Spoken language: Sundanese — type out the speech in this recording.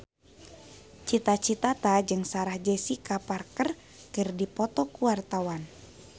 Cita Citata jeung Sarah Jessica Parker keur dipoto ku wartawan